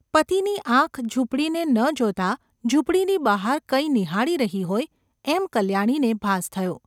પતિની આંખ ઝૂંપડીને ન જોતાં ઝૂંપડીની બહાર કંઈ નિહાળી રહી હોય એમ કલ્યાણીને ભાસ થયો.